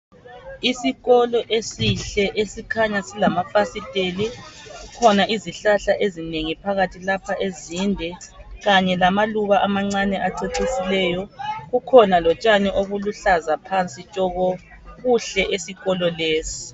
Isikolo esihle, esikhanya silamafasiteli. Kukhona izihlahla ezinengi phakathi lapha ezinde, kanye lamaluba amancane acecisileyo. Kukhona lotshani obuluhlaza phansi tshoko, kuhle esikolo lesi.